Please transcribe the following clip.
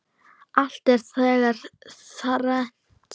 Allt er þegar þrennt er.